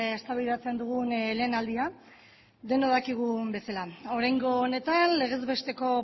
eztabaidatzen dugun lehen aldia denok dakigun bezala oraingo honetan legez besteko